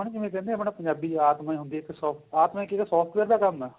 ਆਪਾਂ ਨਹੀਂ ਜਿਵੇਂ ਕਹਿੰਦੇ ਪੰਜਾਬੀ ਚ ਆਤਮਾ ਹੁੰਦੀ ਏ ਆਤਮਾ ਇੱਕ software ਦਾ ਕੰਮ ਏਹ